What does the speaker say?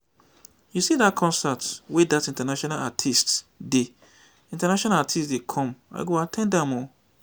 you see that concert wey that international artists dey international artists dey come i go at ten d am o